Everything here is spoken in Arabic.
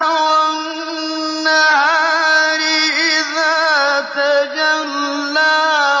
وَالنَّهَارِ إِذَا تَجَلَّىٰ